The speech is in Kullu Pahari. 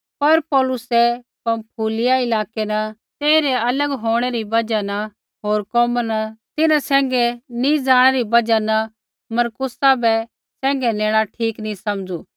पर पौलुसै पँफूलिया इलाकै न तेइरै अलग होंणै री बजहा न होर कोमा न तिन्हां सैंघै नी ज़ाणै री बजहा न मरकुसा बै सैंघै नेणा ठीक नी समझू